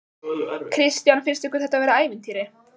Kristján: Finnst ykkur þetta vera ævintýri?